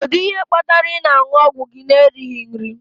Kedu ihe kpatara ị na-aṅụ ọgwụ gị na-erighị nri?